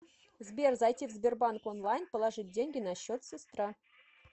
сбер зайти в сбербанк онлайн положить деньги на счет сестра